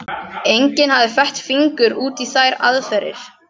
Enginn hafði fett fingur út í þær aðferðir.